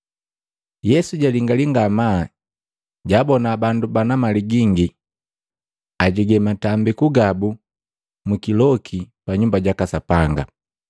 Yesu jalingiki ngamaa, jaabona bandu bana mali gingi ajege matambiku gabu mukikoku pa Nyumba jaka Sapanga.